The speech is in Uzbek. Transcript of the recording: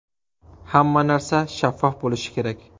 Hamma narsa shaffof bo‘lishi kerak.